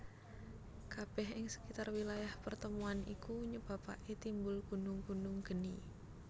Kabeh ing sekitar wilayah pertemuan iku nyebabake timbul gunung gunung geni